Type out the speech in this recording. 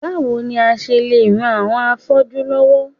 Báwo ni a ṣe lè ran àwọn afọ́jú lọ́wọ́?